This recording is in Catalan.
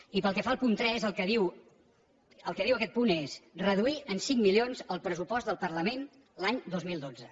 i pel que fa al punt tres el que diu aquest punt és reduir en cinc milions el pressupost del parlament l’any dos mil dotze